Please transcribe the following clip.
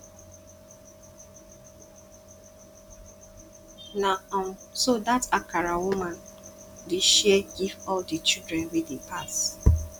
na um so dat akara woman dey share give all di children wey dey pass